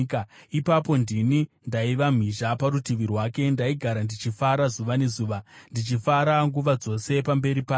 Ipapo ndini ndaiva mhizha parutivi rwake. Ndaigara ndichifara zuva nezuva, ndichifara nguva dzose pamberi pake,